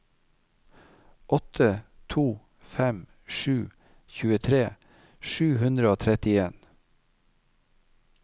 åtte to fem sju tjuetre sju hundre og trettien